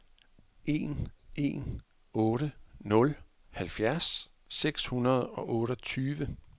en en otte nul halvfjerds seks hundrede og otteogtyve